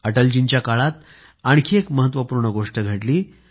अटलजींच्या काळातच आणखी एक महत्वपूर्ण गोष्ट घडली